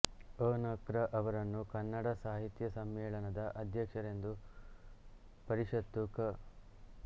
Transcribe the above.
ಅ ನ ಕೃ ಅವರನ್ನು ಕನ್ನಡ ಸಾಹಿತ್ಯ ಸಮ್ಮೇಳನದ ಅಧ್ಯಕ್ಷರೆಂದು ಪರಿಷತ್ತು ಕ